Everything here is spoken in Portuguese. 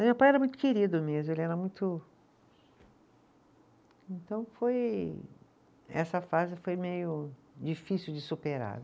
Meu pai era muito querido mesmo, ele era muito, então foi, essa frase foi meio difícil de superar.